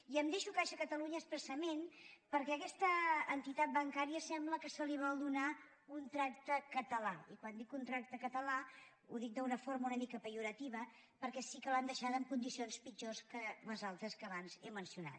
i em deixo caixa catalunya expressament perquè a aquesta entitat bancària sembla que se li vol donar un tracte català i quan dic un tracte català ho dic d’una forma una mica pejorativa perquè sí que l’han deixada en condicions pitjors que les altres que abans he mencionat